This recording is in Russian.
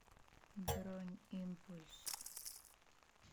бронь импульс